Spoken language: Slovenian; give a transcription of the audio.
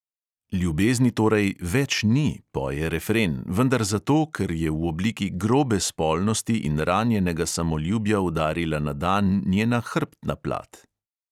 Ljubezni torej "več ni", poje refren, vendar zato, ker je v obliki "grobe" spolnosti in ranjenega samoljubja udarila na dan njena hrbtna plat.